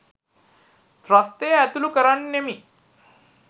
ත්‍රස්තය ඇතුලු කරන්නෙමි.